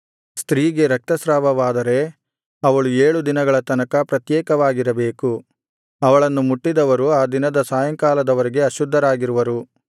ಸ್ತ್ರೀಗೆ ರಕ್ತಸ್ರಾವವಾದರೆ ಅವಳು ಏಳು ದಿನಗಳ ತನಕ ಪ್ರತ್ಯೇಕವಾಗಿರಬೇಕು ಅವಳನ್ನು ಮುಟ್ಟಿದವರು ಆ ದಿನದ ಸಾಯಂಕಾಲದ ವರೆಗೆ ಅಶುದ್ಧರಾಗಿರುವರು